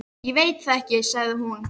Ég veit það ekki sagði hún.